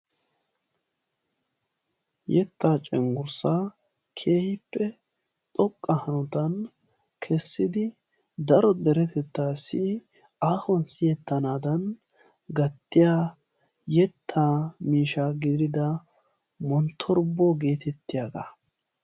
yetta cenggurssa keehippe xoqqa hanotan kessidi daro deretettassi aahuwan siyeetanadan gattiya yetta miishsha gidida monttorbuwa getettiyaaga.